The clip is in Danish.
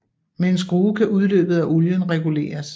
Med en skrue kan udløbet af olien reguleres